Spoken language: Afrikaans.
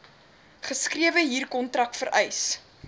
geskrewe huurkontrak vereis